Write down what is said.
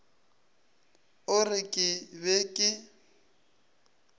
a re ke be ke